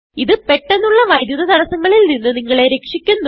ഇത് പെട്ടന്നുള്ള വൈദ്യുത തടസങ്ങളിൽ നിന്ന് നിങ്ങളെ രക്ഷിക്കുന്നു